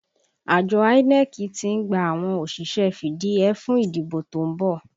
Àjọ INEC tí ń gba àwọn òṣìṣẹ́ fìdíhẹẹ́ fún ìdìbò to ń bọ̀